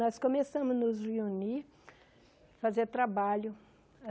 Nós começamos a nos reunir, fazer trabalho.